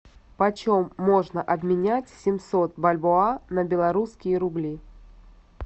по чем можно обменять семьсот бальбоа на белорусские рубли